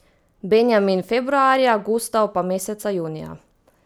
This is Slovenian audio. Benjamin februarja, Gustav pa meseca junija.